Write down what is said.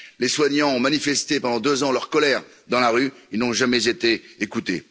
Les soignants ont manifesté pendant deux ans leur colère dans la rue, ils n'ont jamais été écoutés.